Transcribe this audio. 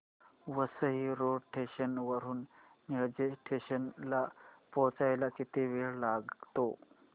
Vasai road station वरून Nilje station ला पोहचायला किती वेळ लागतो